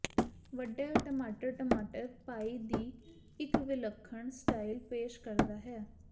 ਵੱਡੇ ਟਮਾਟਰ ਟਮਾਟਰ ਪਾਈ ਦੀ ਇੱਕ ਵਿਲੱਖਣ ਸਟਾਈਲ ਪੇਸ਼ ਕਰਦਾ ਹੈ